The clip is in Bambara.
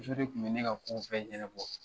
Muso de tun bɛ ne ka ko bɛɛ ɲɛna bɔ.